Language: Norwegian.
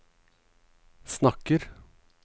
snakker